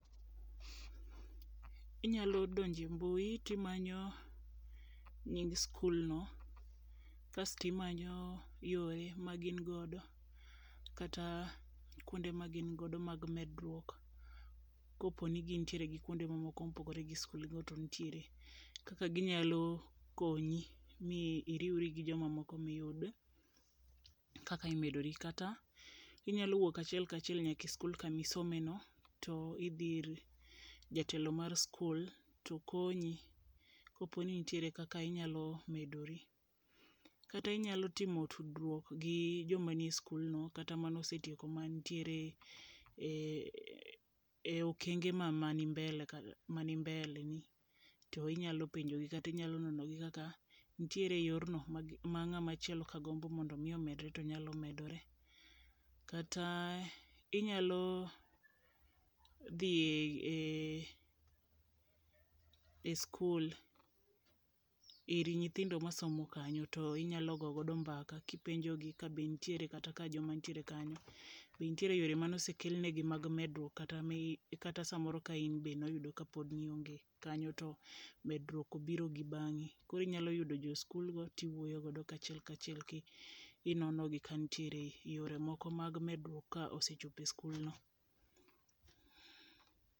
Inyalo donje mbui timanyo nying skul no kasti manyo yore ma gin godo kata kuonde ma gin godo mag medruok. Koponi gin kuonde go moko mopigre gi skul go to ntiere kaka ginyalo konyi mi iriwri gi jomamoko miyud kaka imedori. Kata inyalo wuok achiel kachiel nyaka e skul kamisome no to dihi ir jatelo mar skul to konyi kopo ni ntiere kaka inyalo medori. Kata inyalo timo tudruok gi joma nie skul no kata manosetieko mantiere e okenge ma mani mbele mani mbele ni inyalo penjogi kata inyalo nono gi ka ntie yorno ma ng'ama chielo ka gombo mondo mi omedre to nyalo medre. Kata inyalo dhi e e skul ir nyithindo masomo kanyo to inyalo go godo mbaka kipenjo gi ka be ntiere kata ka joma ntie kanyo ntiere yore manosekelnegi mag medruok kata mi kata samoro ka in be noyudo kapod nionge kanyo to medruok obiro gi bang'i .Kori nyalo yudo jo skul go kiwuoyo godo achiel kachiel kinono gi kantiere yore moko mag medruok ka osechope skul no.